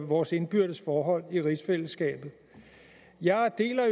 vores indbyrdes forhold i rigsfællesskabet jeg deler